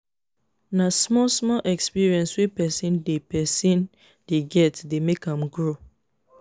na small small experience wey person dey person dey get dey make am grow